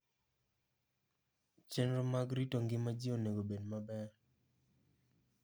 Chenro mag rito ngima ji onego obed maber.